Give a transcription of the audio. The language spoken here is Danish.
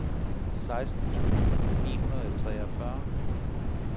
seksten tusind ni hundrede og treogfyrre